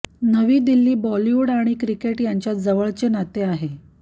नवी दिल्ली बॉलिवूड आणि क्रिकेट यांच्यात जवळचे नाते आहे